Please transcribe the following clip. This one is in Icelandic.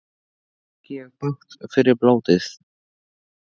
Þá fengi ég bágt fyrir blótið.